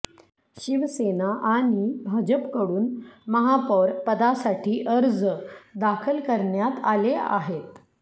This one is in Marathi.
शिवसेना आणि भाजपकडून महापौर पदासाठी अर्ज दाखल करण्यात आले आहेत